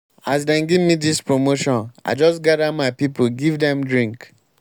as dem gemme dis promotion i just gather my pipu give dem drink.